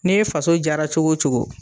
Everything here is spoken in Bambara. N'e faso jara cogo cogo